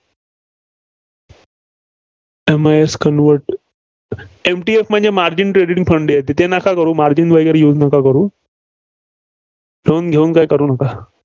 MISConvertempty off म्हणजे margin credit funded ते नका करू. margin वगैरे use नका करू. loan घेऊन काय करू नका.